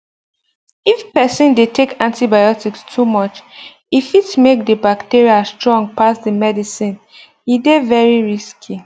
if person dey take antibiotics too much e fit make the bacteria strong pass the medicine e dey very risky